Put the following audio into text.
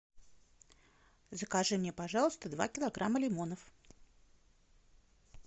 закажи мне пожалуйста два килограмма лимонов